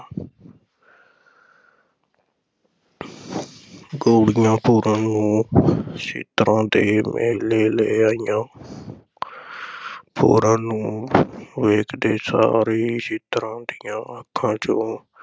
ਗੋਲੀਆਂ ਪੂਰਨ ਨੂੰ ਇੱਛਰਾਂ ਦੇ ਮਹਿਲੀਂ ਲੈ ਆਈਆਂ ਪੂਰਨ ਨੂੰ ਵੇਖਦੇ ਸਾਰ ਹੀ ਇੱਛਰਾਂ ਦੀਆਂ ਅੱਖਾਂ ’ਚੋਂ